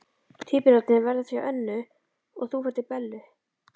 Tvíburarnir verða hjá Önnu og þú ferð til Bellu.